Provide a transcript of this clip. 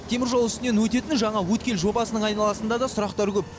теміржол үстінен өтетін жаңа өткел жобасының айналасында да сұрақтар көп